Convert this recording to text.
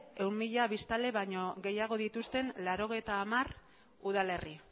ehun mila biztanle baino gehiago dituzten laurogeita hamar udalerri